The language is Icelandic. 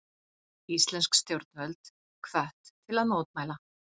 Íslensk stjórnvöld hvött til að mótmæla